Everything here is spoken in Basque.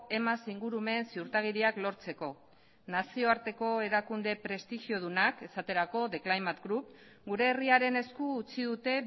emas ingurumen ziurtagiriak lortzeko nazioarteko erakunde prestigiodunak esaterako group gure herriaren esku utzi dute